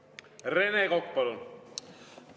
Rene Kokk, palun!